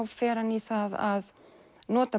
fer hann í það að nota